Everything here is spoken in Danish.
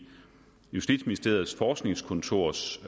justitsministeriets forskningskontors